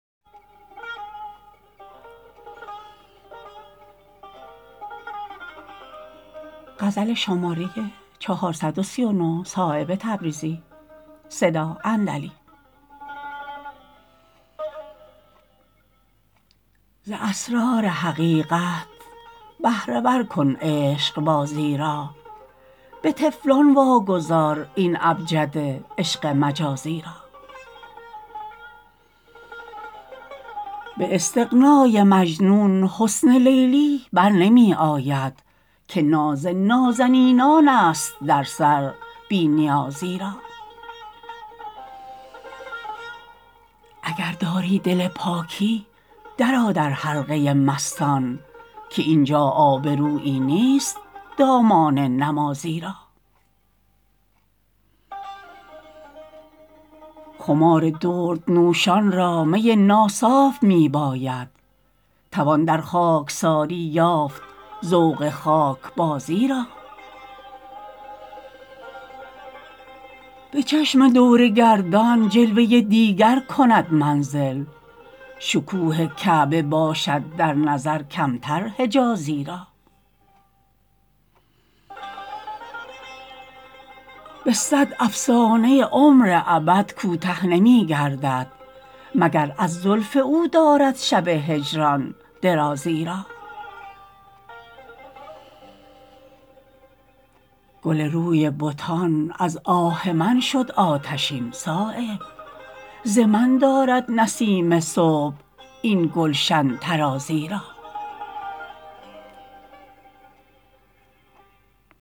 ز اسرار حقیقت بهره ور کن عشقبازی را به طفلان واگذار این ابجد عشق مجازی را به استغنای مجنون حسن لیلی برنمی آید که ناز نازنینان است در سر بی نیازی را اگر داری دل پاکی درآ در حلقه مستان که اینجا آبرویی نیست دامان نمازی را خمار درد نوشان را می ناصاف می باید توان در خاکساری یافت ذوق خاکبازی را به چشم دور گردان جلوه دیگر کند منزل شکوه کعبه باشد در نظر کمتر حجازی را به صد افسانه عمر ابد کوته نمی گردد مگر از زلف او دارد شب هجران درازی را گل روی بتان از آه من شد آتشین صایب ز من دارد نسیم صبح این گلشن طرازی را